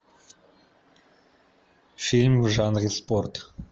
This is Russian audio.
фильм в жанре спорт